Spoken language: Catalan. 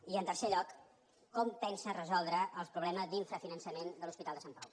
i en tercer lloc com pensa resoldre el problema d’infrafinançament de l’hospital de sant pau